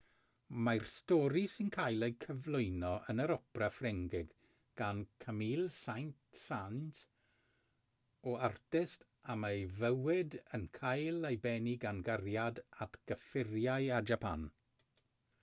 mae'r stori sy'n cael eu cyflwyno yn yr opera ffrengig gan camille saint-saens o artist y mae ei fywyd yn cael ei bennu gan gariad at gyffuriau a japan